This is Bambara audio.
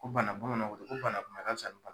Ko bana bamananw ko ten ko bana kunbɛ ka fisa